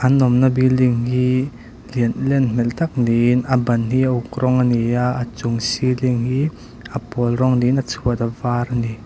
an awmna building hi lian len hmel tak niin a ban hi a uk rawng a ni a a chung ceiling hi a pawl rawng niin a chhuat a var a ni.